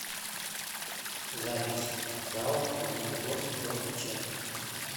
запись зао магнитогорский дом печати